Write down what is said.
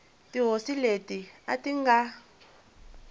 tihosi leti a ti nga